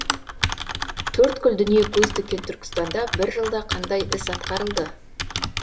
төрткүл дүние көз тіккен түркістанда бір жылда қандай іс атқарылды